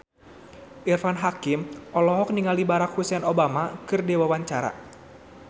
Irfan Hakim olohok ningali Barack Hussein Obama keur diwawancara